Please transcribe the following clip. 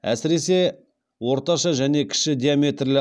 әсіресе орташа және кіші диаметрлі